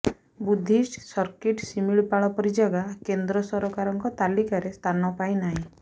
Buddhist circuit Similipal ପରି ଜାଗା କେନ୍ଦ୍ର ସରକାରଙ୍କ ତାଲିକାରେ ସ୍ଥାନ ପାଇ ନାହିଁ